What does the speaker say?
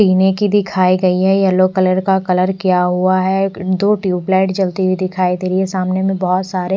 पीने की दिखाई गई है येलो कलर का कलर किया हुआ है एक दो ट्यूबलाइट जलती हुई दिखाई दे रही है सामने में बहुत सारे--